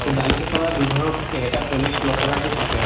দালিটো চাবা দুই ধৰণr থাকে। এটা polish নকৰা টো থাকে।